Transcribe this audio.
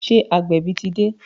Ṣé agbẹ̀bí ti dé?